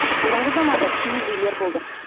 бұрынғы заманда киіз үйлер болды